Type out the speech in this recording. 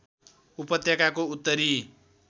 उपत्यकाको उत्तरी